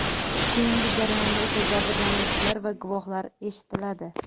Keyingi jarayonda esa jabrlanuvchilar va guvohlar eshitiladi.